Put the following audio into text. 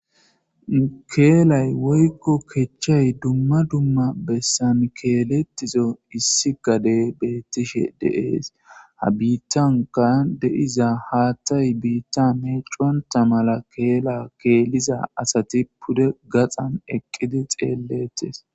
Kelay woykon kechay duma duma bessan keletizo issi gadey betishe de'es ha nittanka de'iza haathay bitta meconta mala Kela keliza asati pude gaxam eqidi xeeletes